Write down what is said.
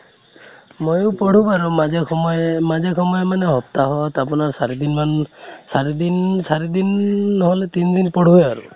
ময়ো পঢ়ো বাৰু মাজে সময়ে, মাজে সময়ে মানে হপ্তাহত আপোনাৰ চাৰি দিন মান, চাৰি দিন চাৰি দিন নহʼলে তিন দিন পঢ়োয়ে আৰু